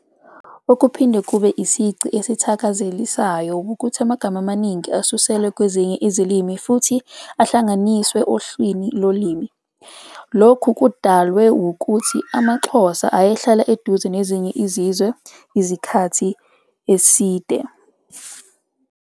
Okuphinde kube isici esithakazelisayo wukuthi amagama amaningi asuselwe kwezinye izilimi futhi ahlanganiswe ohlelwini lolimi. Lokhu kudalwe wukuthi amaXhosa ayehlale eduze nezinye izizwe eziningi isikhathi eside.